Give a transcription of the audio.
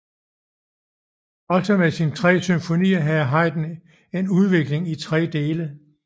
Også med sine symfonier havde Haydn en udvikling i tre dele